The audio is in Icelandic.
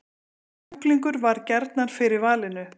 Kjúklingur varð gjarnan fyrir valinu